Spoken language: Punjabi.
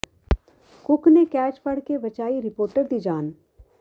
ਕੁੱਕ ਨੇ ਕੈਚ ਫੜ ਕੇ ਬਚਾਈ ਰਿਪੋਰਟਰ ਦੀ ਜਾਨ